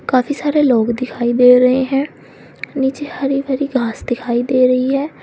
काफी सारे लोग दिखाई दे रहे हैं नीचे हरी भरी घास दिखाई दे रही है।